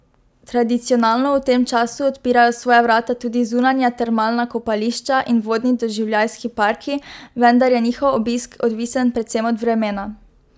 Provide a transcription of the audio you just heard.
Tradicionalno v tem času odpirajo svoja vrata tudi zunanja termalna kopališča in vodni doživljajski parki, vendar je njihov obisk odvisen predvsem od vremena.